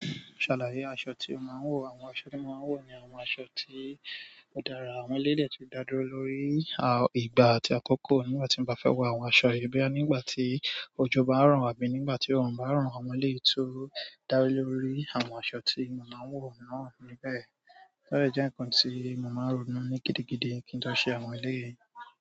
Ṣàlàyé aṣọ tí o máa ń wọ̀. Àwọn aṣọ tí mo máa ń wọ̀ ni àwọn aṣọ tí ó dára, àwọn eleyii de tun dá dúró lórí ìgbà àti àkókò. Nígbà tí mo bá fẹ́ wọ àwọn aṣọ yìí, boya nígbà tí ojo bá ro abíi nígbà tí òórùn bá ràn, àwọn eleyii tí ó dá lórí àwọn aṣọ tí mo máa ń wọ̀ náà níbẹ̀. Ode jẹ́ ǹkan tí mo máa ń ronú ní gidigidi kí n tó ṣe àwọn ilé yìí.